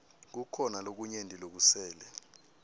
kukhona lokunyenti lokusele